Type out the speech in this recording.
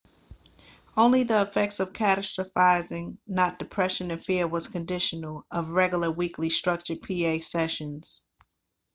only the effects of catastrophizing not depression and fear was conditional of regular weekly structured pa sessions